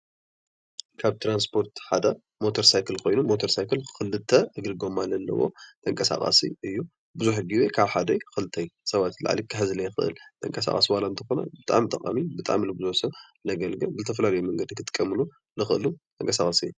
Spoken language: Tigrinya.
ካብ ትራንስፖር ሓደ ሞተር ሳይክል ኮይኑ ሞተር ሳይክል ክልተ እግሪ ጎማ ዘለዎ ተንቃሳቃሲ እዩ። ቡዙሕ ግዜ ካብ ሓደ ክልተ ሰባት ንላዕሊ ክሕዝ ዘይክእል ተንቃሳቃሲ ዋላ እንተኾነ ብጣዕሚ ጠቃሚ ብጣዕሚ ንቡዙሕ ሰብ ዘገልግል ዝተፈላለዩ መንገዲ ክጥቀምሉ ዝኽእሉ ተንቀሳቃሲ እዩ።